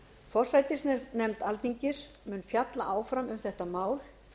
forsætisnefnd alþingis mun fjalla áfram um þetta mál